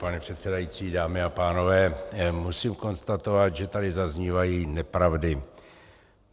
Pane předsedající, dámy a pánové, musím konstatovat, že tady zaznívají nepravdy.